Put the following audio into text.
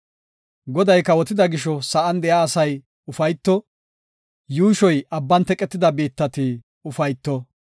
Goday kawotida gisho sa7an de7iya asay ufayto; yuushoy abban teqetida biittati ufayto.